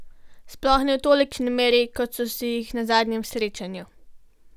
Sploh ne v tolikšni meri, kot so si jih na zadnjem srečanju.